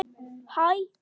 Því má bæta upp